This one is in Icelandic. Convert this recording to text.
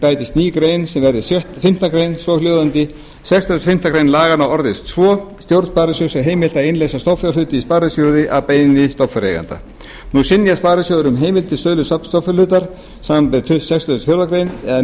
bætist ný grein sem verði fimmtu grein svohljóðandi sextíu og fimm greinar laganna orðist svo stjórn sparisjóðsins er heimilt að innleysa stofnfjárhluti í sparisjóði að beiðni stofnfjáreiganda nú synjar sparisjóður um heimild til sölu stofnfjárhlutar samanber sextugustu og fjórðu grein eða